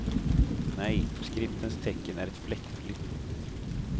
Nej, skriftens tecken är fläckfritt flödande.